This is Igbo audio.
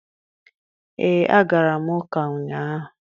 Ee, agara m ụka ụnyaahụ.